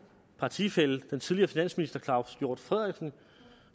partifælle den tidligere finansminister herre claus hjort frederiksen